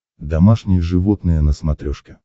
домашние животные на смотрешке